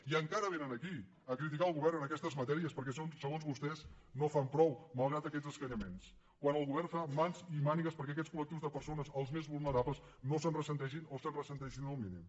i encara vénen aquí a criticar el govern en aquestes matèries perquè segons vostès no fan prou malgrat aquests escanyaments quan el govern fa mans i mànigues perquè aquests collectius de persones els més vulnerables no se’n ressentin o se’n ressentin el mínim